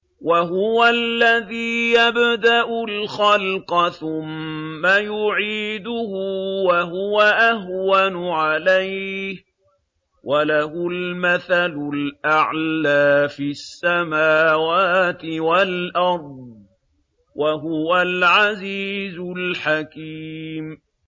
وَهُوَ الَّذِي يَبْدَأُ الْخَلْقَ ثُمَّ يُعِيدُهُ وَهُوَ أَهْوَنُ عَلَيْهِ ۚ وَلَهُ الْمَثَلُ الْأَعْلَىٰ فِي السَّمَاوَاتِ وَالْأَرْضِ ۚ وَهُوَ الْعَزِيزُ الْحَكِيمُ